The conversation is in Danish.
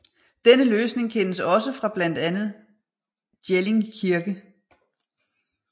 Denne løsning kendes også fra blandet Jelling Kirke